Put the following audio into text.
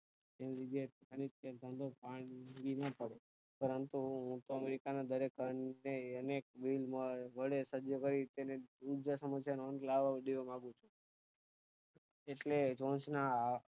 તેની જગ્યા એ પાણી જ તે પાણી પડે પરંતુ અમેરિકા ના દરેક પ્રાણી ને અનેક વડે સંજોવાય તેને ઉર્જા સમસ્યા નો લાવો દેવા માંગુ છું ઍટલે જોનજ ના